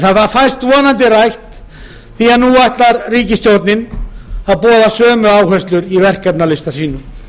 fæst það vonandi rætt því að nú boðar ríkisstjórnin sömu áherslur í verkefnalista sínum